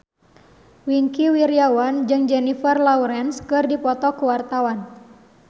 Wingky Wiryawan jeung Jennifer Lawrence keur dipoto ku wartawan